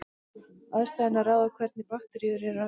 Aðstæðurnar ráða hvernig bakteríur eru að verki.